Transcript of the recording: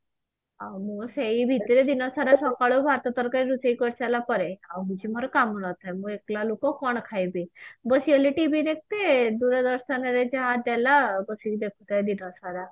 ଆଉ ମୁଁ ସେଇ ଭିତରେ ଦିନ ସାରା ସକାଳୁ ଭାତ ତରକାରୀ ରୋଷେଇ କରି ସାରିଲା ପରେ ଆଉ କିଛି ମୋର କାମ ନଥାଏ ମୁଁ ଏକେଲା ଲୋକ କଣ ଖାଇବି ବସି ଖାଲି TV ଦେଖ ତେ ହେ ଦୂରଦର୍ଶନରେ ଯାହା ଦେଲା ବସିକି ଦେଖୁଥାଏ ଦିନସାରା